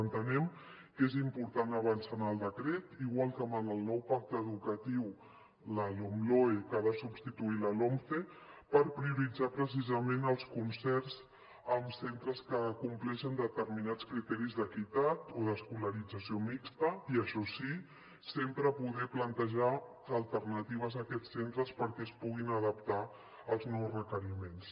entenem que és important avançar en el decret igual que en el nou pacte educatiu la lomloe que ha de substituir la lomce per prioritzar precisament els concerts amb centres que compleixen determinats criteris d’equitat o d’escolarització mixta i això sí sempre poder plantejar alternatives a aquests centres perquè es puguin adaptar als nous requeriments